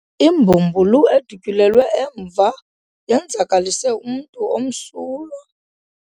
Imbumbulu edutyulelwe emva yenzakalise umntu omsulwa.